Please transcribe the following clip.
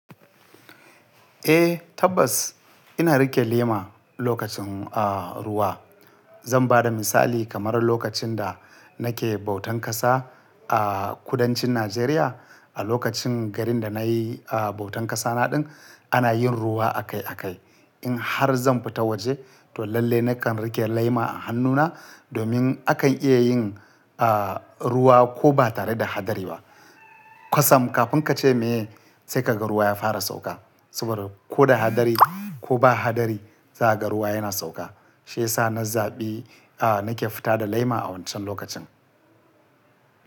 Eh tabbas ina riƙe lema lokacin, ah, ruwa. Zan bada misali kamar lokacin da nake bautan ƙasa a kudancin Najeriya. A lokacin garin da nayi, ah, bautan ƙasa naɗin ana yin ruwa akai-akai. In har zan fita waje to lalle nakan riƙe lema a hannuna domin akan iya yin, ah, ruwa ko ba tare da hadari ba. Qasam kafin kace me sai ka ga ruwa ya fara sauka. Saboda ko da hadari ko ba hadari za ka ga ruwa yana sauka. Shiyasa na zaɓi, ah, nake fita da laima a wancan lokacin.